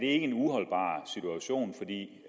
er en uholdbar situation for det